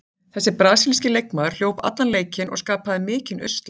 Þessi brasilíski leikmaður hljóp allan leikinn og skapaði mikinn usla.